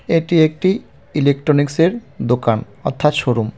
এটি একটি ইলেকট্রনিক্সের দোকান অর্থাৎ শোরুম .